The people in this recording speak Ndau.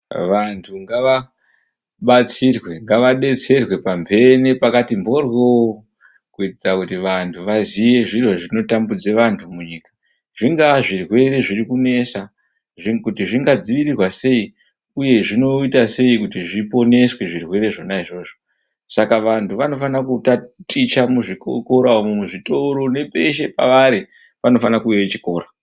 Vantu ngavabatsirwe ,ngavadetserwe pamhene pakati mhoryo, kuitira kuti vanhu vaziye zviro zvinotambudza vanhu munyika zvingaa zvirwere zvirikunesa, kuti zvingadzivirirwa sei uye zvinoita sei kuti zviponeswe zvirwere zvona izvozvo saka vanhu vanofanira kutaticha muuzvikora umwo, muzvitoro nepeshe pavari panofanire kuuye chikora.